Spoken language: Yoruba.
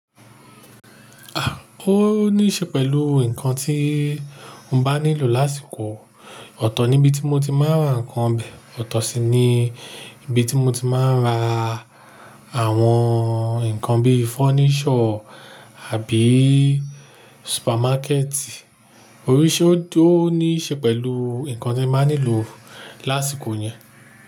À, ó ní ṣe pẹ̀lú ǹkan tí mo bá nílò lásìkò. Ọ̀tọ̀ ni ibi tí mo ti máa ń ra ǹkan obè. Ọ̀tọ̀ si ni ibi tí mo ti máa ń ra àwọn ǹkan bíi furniture àbí supermarket. Oríṣi, ó tó ní ṣe pẹ̀lú ǹkan tí ẹ máa nílò lásìkò yẹn.